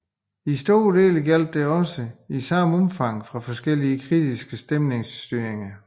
I store dele gjaldt dette også i samme omfang for forskellige kritiske meningsytringer